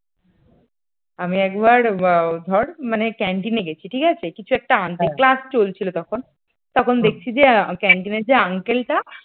আমি একবার ধর মানে canteen গেছি ঠিক আছে কিছু একটা আনতে class চলছিল তখন তখন দেখছি যে canteen র যে uncle টা